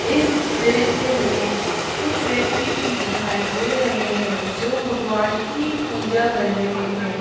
इस दृश्य में कुछ व्यक्ति भी दिखाई दे रहे है जो भगवान की पूजा कर रहे है।